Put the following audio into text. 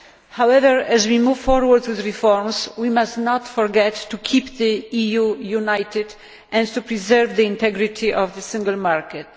However, as we move forward with reforms, we must not forget to keep the EU united and to preserve the integrity of the single market.